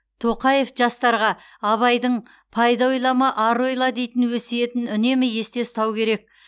тоқаев жастарға абайдың пайда ойлама ар ойла дейтін өсиетін үнемі есте ұстау кере